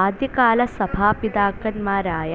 ആദ്യകാലസഭാപിതാക്കന്മാരായ